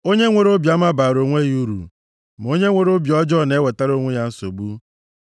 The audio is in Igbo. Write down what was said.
Onye nwere obiọma baara onwe ya uru, ma onye nwere obi ọjọọ na-ewetara onwe ya nsogbu.